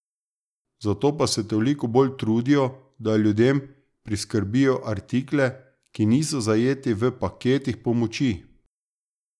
Zato pa se toliko bolj trudijo, da ljudem priskrbijo artikle, ki niso zajeti v paketih pomoči.